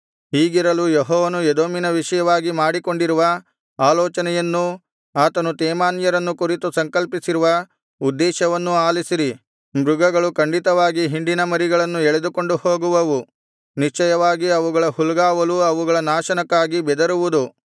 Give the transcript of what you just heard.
ಹೀಗಿರಲು ಯೆಹೋವನು ಎದೋಮಿನ ವಿಷಯವಾಗಿ ಮಾಡಿಕೊಂಡಿರುವ ಆಲೋಚನೆಯನ್ನೂ ಆತನು ತೇಮಾನ್ಯರನ್ನು ಕುರಿತು ಸಂಕಲ್ಪಿಸಿರುವ ಉದ್ದೇಶವನ್ನೂ ಆಲಿಸಿರಿ ಮೃಗಗಳು ಖಂಡಿತವಾಗಿ ಹಿಂಡಿನ ಮರಿಗಳನ್ನು ಎಳೆದುಕೊಂಡು ಹೋಗುವವು ನಿಶ್ಚಯವಾಗಿ ಅವುಗಳ ಹುಲ್ಗಾವಲು ಅವುಗಳ ನಾಶನಕ್ಕಾಗಿ ಬೆದರುವುದು